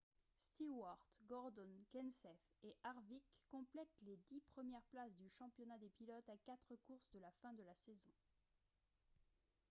stewart gordon kenseth et harvick complètent les dix premières places du championnat des pilotes à quatre courses de la fin de la saison